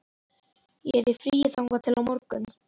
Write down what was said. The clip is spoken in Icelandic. Ég er í fríi þangað til á morgun.